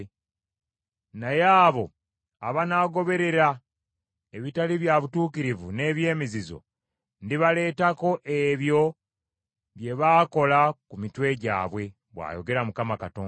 Naye abo abanaagoberera ebitali bya butuukirivu n’eby’emizizo, ndibaleetako ebyo bye baakola ku mitwe gyabwe, bw’ayogera Mukama Katonda.”